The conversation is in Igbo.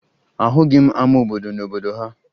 Ahụghị m ama obodo n'obodo ha